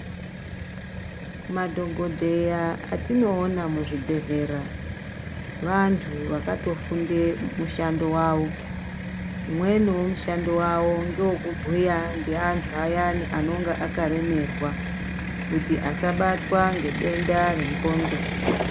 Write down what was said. Madhokodheya atinoona muzvibhedhlera vantu vakatofunda mushando wavo umweni wemushando wavo ndewe kubhuya nevantu vayani anonga akaremerwa kuti asabatwa nedenda rengondlo.